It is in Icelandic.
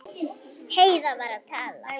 Heiða var að tala.